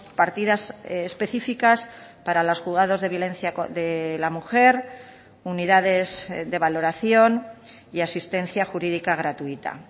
partidas especificas para los juzgados de violencia de la mujer unidades de valoración y asistencia jurídica gratuita